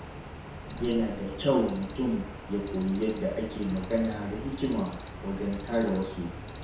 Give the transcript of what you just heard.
Yana da kyau mutum ya koyi yadda ake magana da hikima wajen kare wasu.